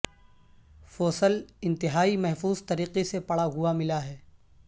fossil انتہائی محفوظ طریقے سے پڑا ہوا ملا ہے